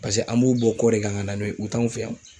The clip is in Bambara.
Paseke an b'u bɔ kɔ de kan ka na n'o ye u t'anw fɛ yan.